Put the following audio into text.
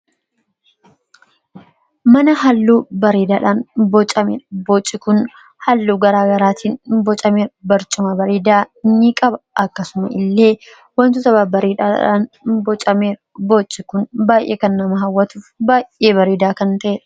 mana halluu bariidaadhaan bocamedha booci kun halluu garaa garaatiin bocamee barcuma bareedaa ni qaba akkasuma illee wantoota bariidhaadhaan bocamee, boci kun baay'ee kannama hawwatuuf baay'ee bariidaa kan ta'era